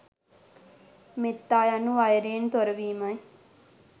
මෙත්තා යනු වෛරයෙන් තොරවීමයි.